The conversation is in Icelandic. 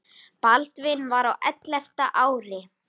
Baldvin var á ellefta ári.